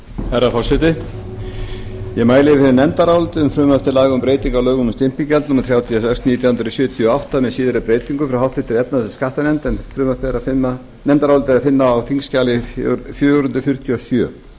herra forseti ég mæli fyrir nefndaráliti um frumvarp til laga um breytingu á lögum um stimpilgjald númer þrjátíu og sex nítján hundruð sjötíu og átta með síðari breytingum frá háttvirtri efnahags og skattanefnd en nefndarálitið er að finna á þingskjali fjögur hundruð fjörutíu og sjö